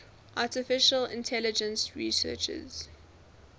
artificial intelligence researchers